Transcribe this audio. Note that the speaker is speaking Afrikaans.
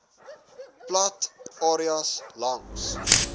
plat areas langs